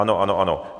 Ano, ano, ano.